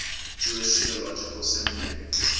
jewish theological seminary